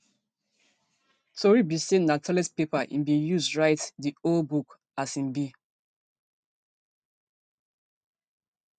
tori be say na toilet paper im bin use to write di whole book as im bin